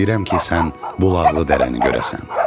Mən istəyirəm ki, sən bulaqlı dərəni görəsən.